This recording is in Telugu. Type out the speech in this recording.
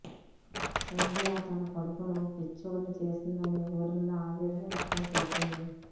సంధ్య తన కొడుకును పిచ్చొడ్ని చేసిందని ఊర్మిల ఆవేదన వ్యక్తం చేసింది